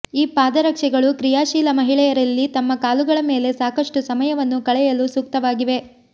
ಈ ಪಾದರಕ್ಷೆಗಳು ಕ್ರಿಯಾಶೀಲ ಮಹಿಳೆಯರಲ್ಲಿ ತಮ್ಮ ಕಾಲುಗಳ ಮೇಲೆ ಸಾಕಷ್ಟು ಸಮಯವನ್ನು ಕಳೆಯಲು ಸೂಕ್ತವಾಗಿವೆ